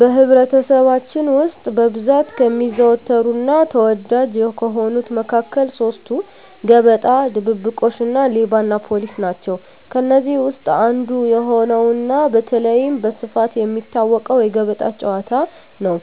በኅብረተሰባችን ውስጥ በብዛት ከሚዘወተሩና ተወዳጅ ከሆኑት መካከል ሦስቱ፤ ገበጣ፣ ድብብቆሽ እና ሌባና ፖሊስ ናቸው። ከእነዚህ ውስጥ አንዱ የሆነውና በተለይም በስፋት የሚታወቀው የገበጣ ጨዋታ ነው።